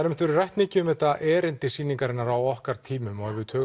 einmitt verið rætt mikið um þetta erindi sýningarinnar á okkar tímum og ef við